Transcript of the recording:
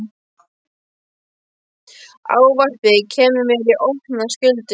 Ávarpið kemur mér í opna skjöldu.